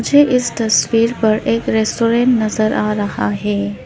मुझे इस तस्वीर पर एक रेस्टोरेंट नजर आ रहा है।